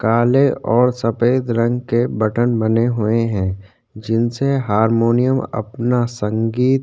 काले और सफेद रंग के बटन बने हुए है जिनसे हारमोनियम अपना संगीत--